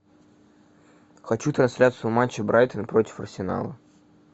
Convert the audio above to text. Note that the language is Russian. хочу трансляцию матча брайтон против арсенала